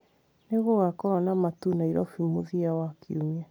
nĩ gũgakorwo na matu Nairobi mũthia wa kiumia